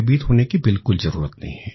भयभीत होने की बिल्कुल जरूरत नहीं है